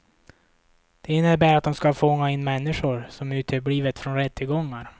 Det innebär att hon ska fånga in människor som uteblivit från rättegångar.